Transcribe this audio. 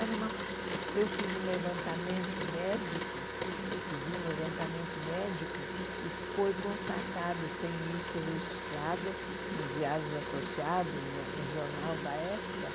Era uma eu fiz um levantamento médico, pedi um levantamento médico e foi constatado, tem isso registrado nos diários associados, no no jornal da época,